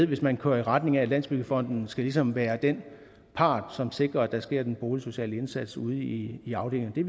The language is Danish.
hvis man kører i retning af at landsbyggefonden ligesom skal være den part som sikrer at det sker den boligsociale indsats ude i i afdelingerne det